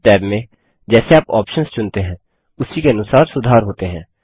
options tab में जैसे आप ऑप्शन्स चुनते हैं उसी के अनुसार सुधार होते हैं